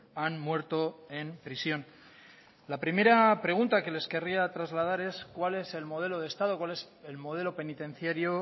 han muerto en prisión la primera pregunta que les querría trasladar es cuál es el modelo de estado cual es el modelo penitenciario